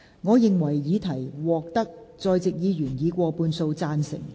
我認為議題獲得在席議員以過半數贊成。